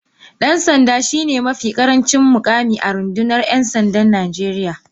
dan sanda shine mafi karancin mukami a rundunar ‘yan sandan Najeriya.